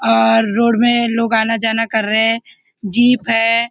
और रोड में लोग आना जाना कर रहे है जीप है।